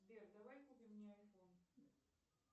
сбер давай купим мне айфон